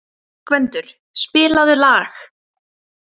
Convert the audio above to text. Gvendur, spilaðu lag.